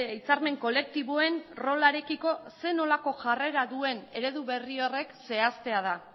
hitzarmen kolektiboen rolarekiko zer nolako jarrera duen eredu berri horrek zehaztea da